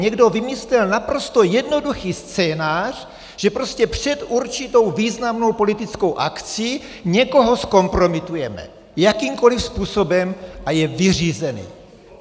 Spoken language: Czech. Někdo vymyslel naprosto jednoduchý scénář, že prostě před určitou významnou politickou akcí někoho zkompromitujeme jakýmkoliv způsobem a je vyřízený.